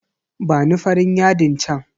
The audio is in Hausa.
Bani farin yadin chan.